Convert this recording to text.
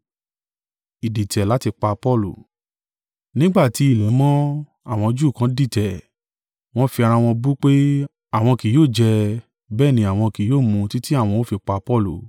Nígbà tí ilẹ̀ mọ́, àwọn Júù kan dìtẹ̀, wọ́n fi ara wọn bú pé, àwọn kì yóò jẹ, bẹ́ẹ̀ ní àwọn kì yóò mú títí àwọn ó fi pa Paulu.